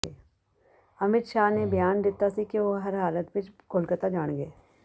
ਅਮਿਤ ਸ਼ਾਹ ਨੇ ਬਿਆਨ ਦਿੱਤਾ ਸੀ ਕਿ ਉਹ ਹਰ ਹਾਲਤ ਵਿੱਚ ਕੋਲਕਾਤਾ ਜਾਣਗੇ